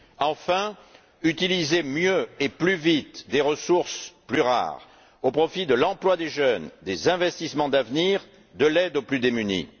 Enfin, utiliser mieux et plus vite des ressources plus rares, au profit de l'emploi des jeunes, des investissements d'avenir, de l'aide aux plus démunis.